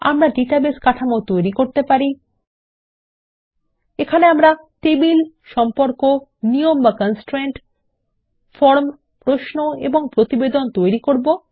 আমরা ডাটাবেস কাঠামো তৈরি করতে পারি এখানে আমরা টেবিল সম্পর্ক নিয়ম বা কনস্ট্রেইন্ট ফরম প্রশ্ন এবং প্রতিবেদন তৈরি করব